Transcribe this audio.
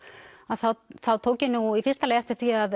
að þá þá tók ég nú í fyrsta lagi eftir því að